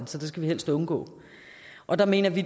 så det skal vi helst undgå og der mener vi